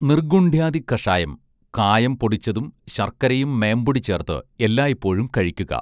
നിർഗുൺഡ്യാദികഷായം കായം പൊടിച്ചതും ശർക്കരയും മേമ്പൊടി ചേർത്ത് എല്ലായ്പോഴും കഴിക്കുക